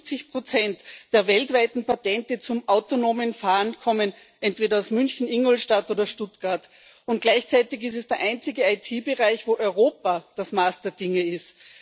Über 50 der weltweiten Patente zum autonomen Fahren kommen entweder aus München, Ingolstadt oder Stuttgart. Und gleichzeitig ist es der einzige IT Bereich, wo Europa das Maß der Dinge ist.